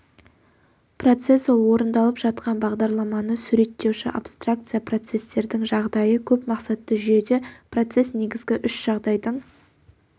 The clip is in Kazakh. процесс ол орындалып жатқан бағдарламаны суреттеуші абстракция процестердің жағдайы көп мақсатты жүйеде процесс негізгі үш жағдайдың